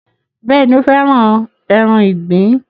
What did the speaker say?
Bẹ́ẹ̀ni, ó fẹ́ràn ẹran ìgbín